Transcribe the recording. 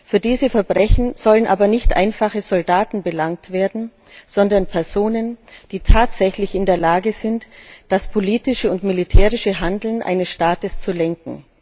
Für diese Verbrechen sollen aber nicht einfache Soldaten belangt werden, sondern Personen, die tatsächlich in der Lage sind, das politische und militärische Handeln eines Staates zu lenken.